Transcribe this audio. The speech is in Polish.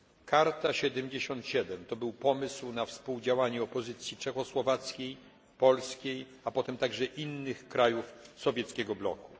Karta 77 to był pomysł na współdziałanie opozycji czechosłowackiej, polskiej, a potem także innych krajów sowieckiego bloku.